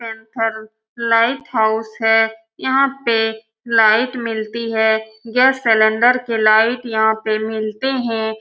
Light house है। यहाँ पे लाइट मिलती है। यह सिलिंडर के लाइट के यहाँ पे मलते है।